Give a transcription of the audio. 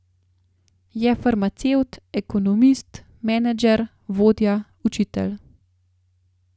Je farmacevt, ekonomist, menedžer, vodja, učitelj.